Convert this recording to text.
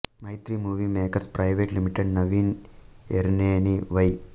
Mythri Movie Makers Private Limited Naveen Yerneni why